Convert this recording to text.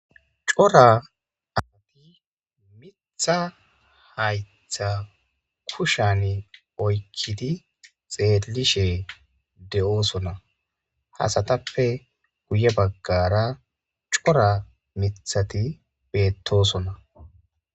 Cora amati mitha hayttha kushan oykkidi xeellishe de7oosonna hasatappe guye baggara cora mithati beettosonna.